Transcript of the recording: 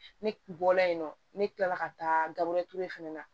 Ne bɔla yen nɔ ne kilala ka taa gabure ture fana na